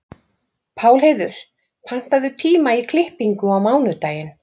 Pálheiður, pantaðu tíma í klippingu á mánudaginn.